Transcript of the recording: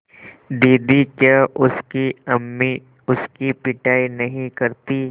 दीदी क्या उसकी अम्मी उसकी पिटाई नहीं करतीं